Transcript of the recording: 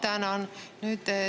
Ma tänan.